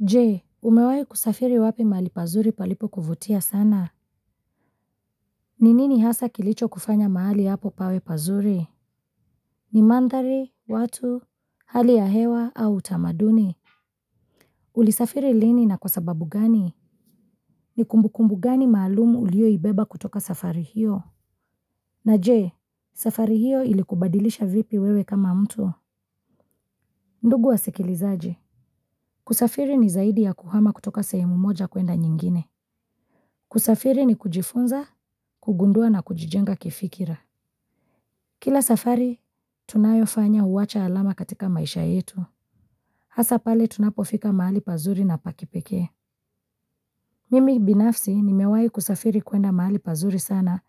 Jee, umewahi kusafiri wapi mahali pazuri palipo kuvutia sana? Ni nini hasa kilicho kufanya mahali hapo pawe pazuri? Ni mandhari, watu, hali ya hewa au utamaduni. Uli safiri lini na kwa sababu gani? Ni kumbukumbu gani maalumu uliyoibeba kutoka safari hiyo? Na jee, safari hiyo ilikubadilisha vipi wewe kama mtu? Ndugu wa sikilizaji. Kusafiri ni zaidi ya kuhama kutoka sehemu moja kuenda nyingine. Kusafiri ni kujifunza, kugundua na kujijenga kifikira. Kila safari, tunayofanya huwacha alama katika maisha yetu. Hasa pale tunapofika mahali pazuri na pa kipekee. Mimi binafsi nimewai kusafiri kuenda mahali pazuri sana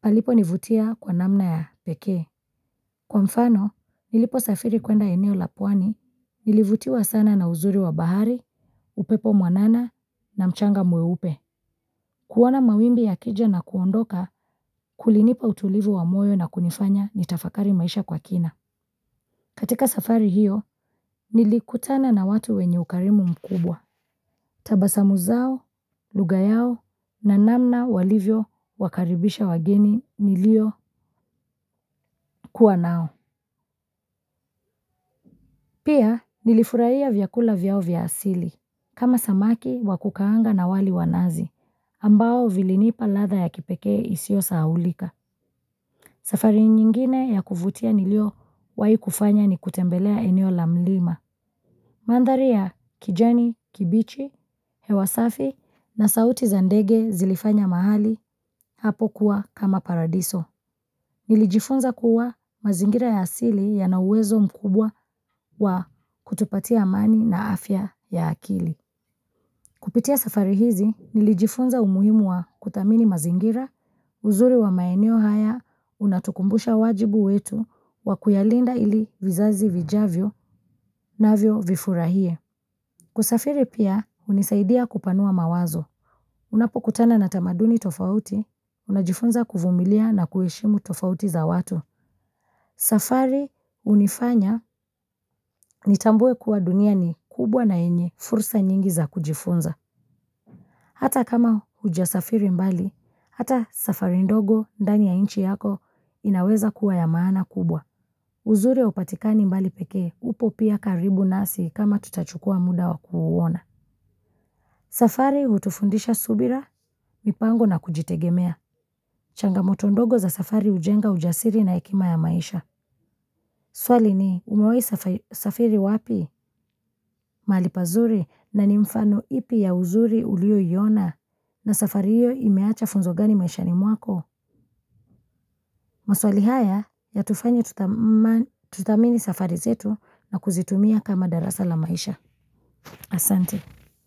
palipo nivutia kwa namna ya pekee. Kwa mfano niliposafiri kuenda eneo la pwani nilivutiwa sana na uzuri wa bahari upepo mwanana na mchanga mweupe. Kuona mawimbi yakija na kuondoka, kulinipa utulivu wa moyo na kunifanya ni tafakari maisha kwa kina. Katika safari hiyo, nilikutana na watu wenye ukarimu mkubwa. Tabasamu zao, lugha yao, na namna walivyo, wakaribisha wageni, nilio kuwa nao. Pia nilifurahia vyakula vyao vya asili. Kama samaki, wakukaanga na wali wanazi. Ambao vilinipa ladha ya kipekee isioyosahaulika. Safari nyingine ya kuvutia niliyowahi kufanya ni kutembelea eneo la mlima. Mandhari ya, kijani, kibichi, hewa safi na sauti za ndege zilifanya mahali hapo kuwa kama paradiso. Nilijifunza kuwa mazingira ya asili yana uwezo mkubwa wa kutupatia amani na afya ya akili. Kupitia safari hizi, nilijifunza umuhimu wa kuthamini mazingira, uzuri wa maeneo haya, unatukumbusha wajibu wetu, wa kuyalinda ili vizazi vijavyo navyo vifurahie. Kusafiri pia, unisaidia kupanua mawazo. Unapokutana na tamaduni tofauti, unajifunza kuvumilia na kuheshimu tofauti za watu. Safari hunifanya, nitambue kuwa dunia ni kubwa na yenye, fursa nyingi za kujifunza. Hata kama hujasafiri mbali hata safari ndogo ndani ya nchi yako inaweza kuwa ya maana kubwa. Uzuri haupatikani mbali peke, upo pia karibu nasi kama tutachukua muda wa kuuona. Safari hutufundisha subira, mipango na kujitegemea. Changamoto ndogo za safari hujenga ujasiri na hekima ya maisha. Swali ni umewai safiri wapi? Mahali pazuri na ni mfano ipi ya uzuri uliyoiona na safari hiyo imeacha funzo gani maishani mwako. Maswali haya yatufanya tuthamini safari zetu na kuzitumia kama darasa la maisha. Asante.